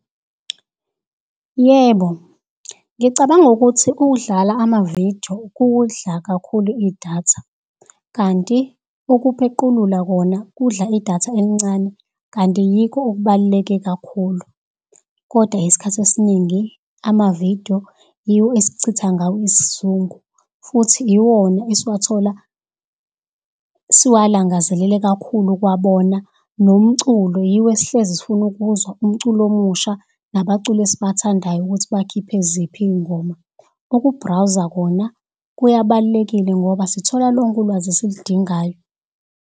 Yebo, ngicabanga ukuthi ukudlala amavido kudla kakhulu idatha, kanti ukuphequlula kona kudla idatha elincane kanti yikho okubaluleke kakhulu. Kodwa isikhathi esiningi amavido yiwo esichitha ngawo isizungu futhi iwona esiwathola siwalangazelele kakhulu ukuwabona. Nomculo yiwo esihlezi sifuna ukuwuzwa, umculo omusha nabaculi esibathandayo ukuthi bakhiphe ziphi iy'ngoma. Ukubrawuza kona kuyabalulekile ngoba sithola lonke ulwazi esiludingayo.